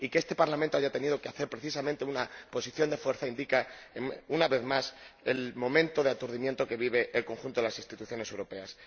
Y que este Parlamento haya tenido que adoptar, precisamente, una posición de fuerza indica, una vez más, el momento de aturdimiento que vive el conjunto de las instituciones europeas.